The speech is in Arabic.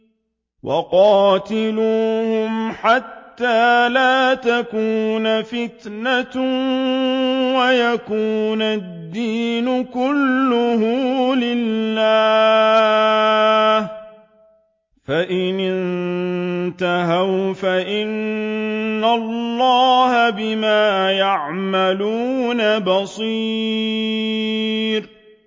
وَقَاتِلُوهُمْ حَتَّىٰ لَا تَكُونَ فِتْنَةٌ وَيَكُونَ الدِّينُ كُلُّهُ لِلَّهِ ۚ فَإِنِ انتَهَوْا فَإِنَّ اللَّهَ بِمَا يَعْمَلُونَ بَصِيرٌ